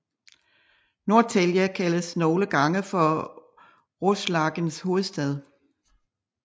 Norrtälje kaldes nogle gange for Roslagens hovedstad